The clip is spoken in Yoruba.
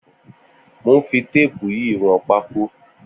Mó n fi táàpù yi wọn pàkò